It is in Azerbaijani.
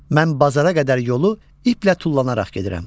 Mən bazara qədər yolu iplə tullanaraq gedirəm.